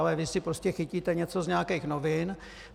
Ale vy si prostě chytíte něco z nějakých novin.